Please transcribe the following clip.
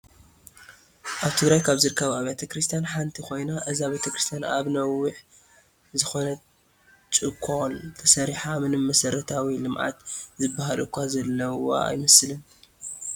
ኣብ ትግራይ ካብ ዝርከባ ኣብያተ ክርስትያን ሓንቲ ኮይና እዛ ቤተክርስትያን ኣብ ነዋሕ ዝኮነት ጭኮል ተሰሪሓ ምንም መሰረታዊ ልምዓት ዝበሃል እኳ ዘለዋ ኣይመስል።